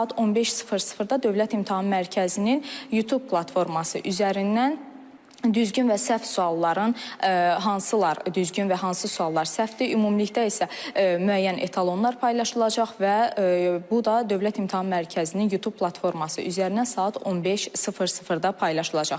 Saat 15:00-da Dövlət İmtahan Mərkəzinin YouTube platforması üzərindən düzgün və səhv sualların, hansılar düzgün və hansı suallar səhvdir, ümumilikdə isə müəyyən etalonlar paylaşılacaq və bu da Dövlət İmtahan Mərkəzinin YouTube platforması üzərindən saat 15:00-da paylaşılacaq.